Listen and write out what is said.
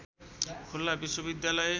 खुल्ला विश्वविद्यालय